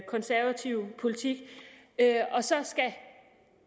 konservative politik og så skulle